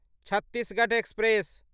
Chhattisgarh express